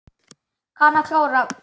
Kann að klóra.